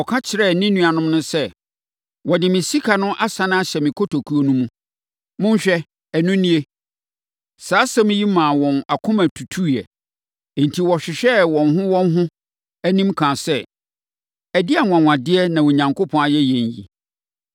Ɔka kyerɛɛ ne nuanom no sɛ, “Wɔde me sika no asane ahyɛ me kotokuo no mu. Monhwɛ. Ɛno nie!” Saa asɛm yi maa wɔn akoma tutuiɛ. Enti, wɔhwehwɛɛ wɔn ho wɔn ho anim kaa sɛ, “Ɛdeɛn anwanwadeɛ na Onyankopɔn ayɛ yɛn yi?”